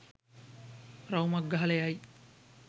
රවුමක් ගහලා යයි.